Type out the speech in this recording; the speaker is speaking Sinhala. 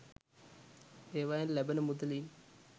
ඒවයෙන් ලැබෙන මුදලින්